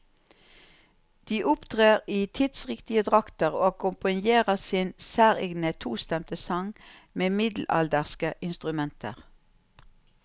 De opptrer i tidsriktige drakter, og akkompagnerer sin særegne tostemte sang med middelalderske instrumenter.